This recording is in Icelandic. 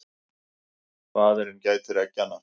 Faðirinn gætir eggjanna.